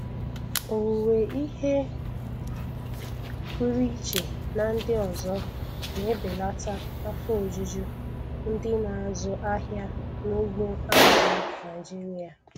Owuwe ihe pụrụ iche na ndị ọzọ na-ebelata afọ ojuju ndị na-azụ ahịa n'ugbo azụ̀ Naịjiria.